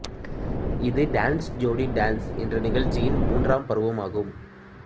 இது Dance Jodi Dance என்ற நிகழ்ச்சியின் மூன்றாம் பருவம் ஆகும்